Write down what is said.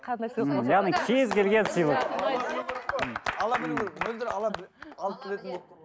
яғни кез келген сыйлық ала білу керек мөлдір